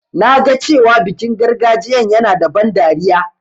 Na ga cewa bikin gargajiyan yana da ban dariya.